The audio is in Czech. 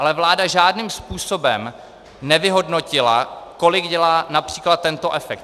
Ale vláda žádným způsobem nevyhodnotila, kolik dělá například tento efekt.